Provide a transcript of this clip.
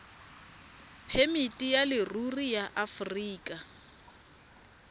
phemiti ya leruri ya aforika